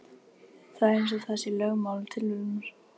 Það er eins og það sé lögmál tilverunnar.